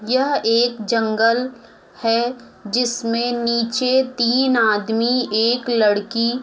यह एक जंगल है जिसमे नीचे तीन आदमी एक लड़की--